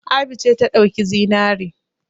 Abu ce ta ɗauki zinare.